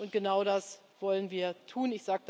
Und genau das wollen wir tun.